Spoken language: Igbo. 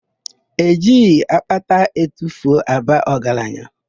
E jighi akpata atufuo aba ọgaranya.